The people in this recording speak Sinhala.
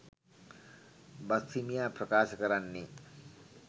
බස්හිමියා ප්‍රකාශ කරන්නේ